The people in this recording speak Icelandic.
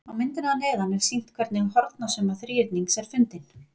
á myndinni að neðan er sýnt hvernig hornasumma þríhyrnings er fundin